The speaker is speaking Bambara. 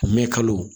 Mɛn kalo